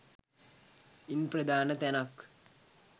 ඉන් ප්‍රධාන තැනක්